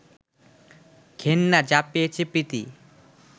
ঘেন্না যা পেয়েছে প্রীতি